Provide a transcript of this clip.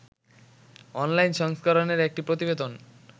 online সংস্করনের একটি প্রতিবেদন